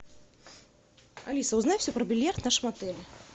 алиса узнай все про бильярд в нашем отеле